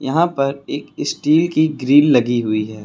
यहां पर एक स्टील की ग्रिल लगी हुई है।